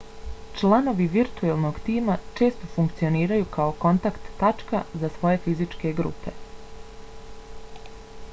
članovi virtuelnog tima često funkcioniraju kao kontakt tačka za svoju fizičke grupe